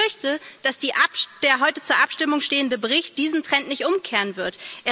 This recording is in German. Ich befürchte, dass der heute zur Abstimmung stehende Bericht diesen Trend nicht umkehren wird.